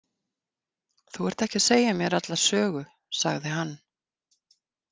Þú ert ekki að segja mér alla sögu, sagði hann.